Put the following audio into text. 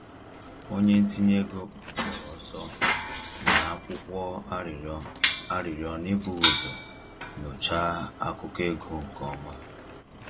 Onye ntinye ego kpọrọ ọsọ nyere akwụkwọ arịrịọ arịrịọ n’ebughị ụzọ nyochaa akụkọ ego nke ọma